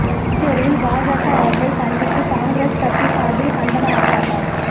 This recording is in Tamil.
புதுச்சேரியில் பாஜக அரசை கண்டித்து காங்கிரஸ் கட்சி சார்பில் கண்டன ஆர்பாட்டம்